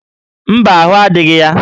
Mba, ahụ́ adịghị ya